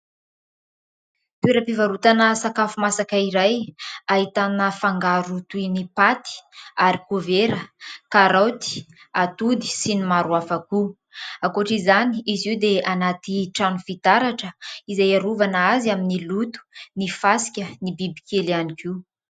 Toeram-pivarotana sakafo masaka iray ahitana fangaro toy ny paty, arikôvera, karaoty, atody sy ny maro hafa koa. Ankoatr'izany izy io dia anaty trano fitaratra izay arovana azy amin'ny loto, ny fasika, ny biby kely ihany koa.